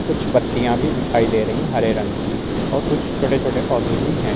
कुछ पत्तियाँ भी दिखाई दे रही हैं हरे रंग की और कुछ छोटे छोटे पौधे भी हैं।